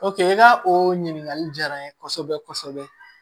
i ka o ɲininkali diyara n ye kosɛbɛ kosɛbɛ